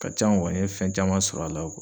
Ka can wa n ye fɛn caman sɔr'a la .